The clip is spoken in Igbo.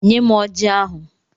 Nyem Ọji ahụ!